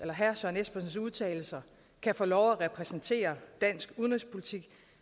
herre søren espersens udtalelser kan få lov at repræsentere dansk udenrigspolitik